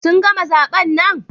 Sun gama zaben nan?